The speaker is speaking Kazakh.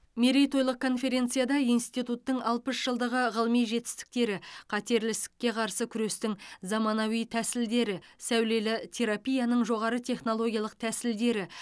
мерейтойлық конференцияда институттың алпыс жылдығы ғылыми жетістіктері қатерлі ісікке қарсы күрестің заманауи тәсілдері сәулелі терапияның жоғары технологиялық тәсілдері